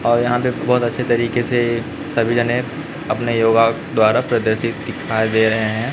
और यहां पे बहुत अच्छे तरीके से सभी जने अपने योगा द्वारा प्रदर्शित दिखाई दे रहे हैं।